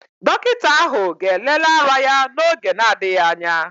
Dọkịta ahụ ga-elele ara ya n'oge na-adịghị anya